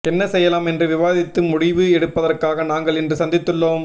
என்ன செய்யலாம் என்று விவாதித்து முடிவு எடுப்பதற்காக நாங்கள் இன்று சந்தித்துள்ளோம்